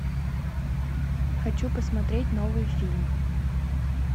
хочу посмотреть новый фильм